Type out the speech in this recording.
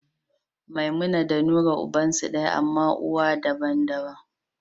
Memumat da Nura ubansu daya, amma uwa daban-daban.